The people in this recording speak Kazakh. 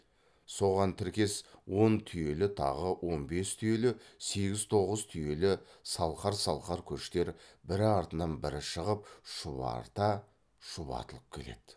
соған тіркес он түйелі тағы он бес түйелі сегіз тоғыз түйелі салқар салқар көштер бірі артынан бірі шығып шұбарыта шұбатылып келеді